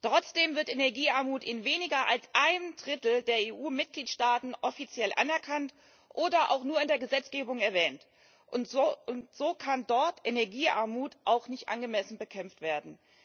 Trotzdem wird Energiearmut in weniger als einem Drittel der EU Mitgliedstaaten offiziell anerkannt oder auch nur in der Gesetzgebung erwähnt, und so kann dort Energiearmut auch nicht angemessen bekämpft werden.